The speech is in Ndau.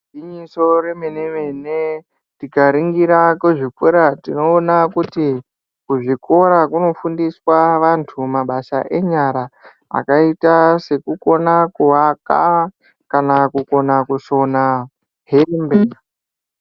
Igwinyiso remene-mene tikaringira kuzvikora tinoona kuti kuzvikora kunofundiswa vantu mabasa enyara. Akaita sekukona kuvaka kana kukona kusona hembe.